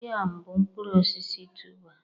Yam bụ mkpụrụ osisi tuber